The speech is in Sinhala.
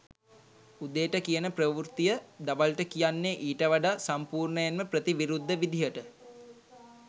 උදේට කියන ප්‍රවෘත්තිය දවල්ට කියන්නේ ඊට වඩා සම්පූර්ණයෙන්ම ප්‍රතිවිරුද්ධ විදිහට